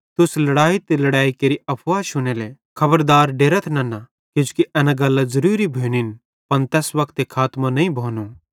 तुस लड़ाई ते लड़ैई केरि अफवाह शुनेले खबरदार डेरथ नन्ना किजोकि एन गल्लां ज़ुरुरी भोनिन पन हेजू खातमों नईं भोनो